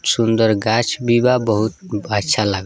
सुन्दर गाछ भी बा बहुत अच्छा लाग --